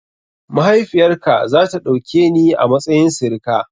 Mahaifiyar ka za ta ɗauke ni a matsayin sirika?